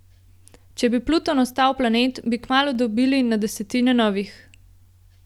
Če bi Pluton ostal planet, bi kmalu dobili na desetine novih.